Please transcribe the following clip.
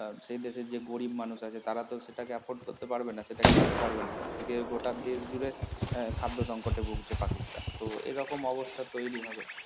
আহ সেই দেশের যে গরিব মানুষ আছে তারা তো সেটাকে afford করতে পারবে না সেটা কিনতে পারবে না। আজকে গোটা দেশ জুড়ে আহ খাদ্য সংকটে ভুগছে পাকিস্তান। তো এরকম অবস্থা তৈরী হবে